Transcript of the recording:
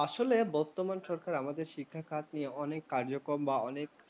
আসলে আমাদের বর্তমান সরকার আমাদের শিক্ষাখাত নিয়ে অনেক কার্যক্রম বা অনেক